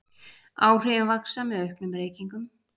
Áhrifin vaxa með auknum reykingum.